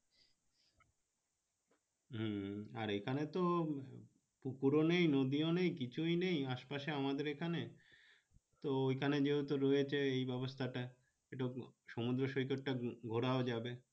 হম আর এখানে তো পুকুর ও নেই নদী ও নেই কিছুই নেই আশে পাশে আমাদের এখানে তো এখানে যেহেতু রয়েছে ব্যবস্থা টা সমুদ্র সৈকতটা ঘুরাও যাবে